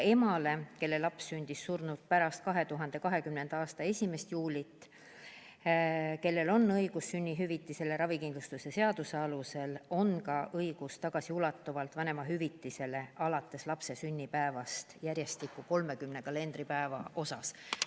Emal, kelle laps sündis surnult pärast 2020. aasta 1. juulit ja kellel on õigus sünnihüvitisele ravikindlustuse seaduse alusel, on ka õigus tagasiulatuvalt saada vanemahüvitist alates lapse sünnipäevast järjestikku 30 kalendripäeva eest.